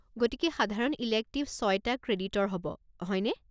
গতিকে সাধাৰণ ইলেক্টিভ ছয়টা ক্ৰেডিটৰ হ'ব, হয়নে?